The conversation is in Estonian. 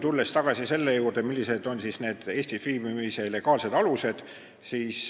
Tulen siis tagasi selle juurde, millised on Eestis viibimise legaalsed alused.